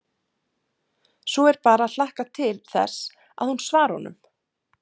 Svo er bara að hlakka til þess að hún svari honum.